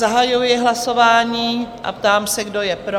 Zahajuji hlasování a ptám se, kdo je pro?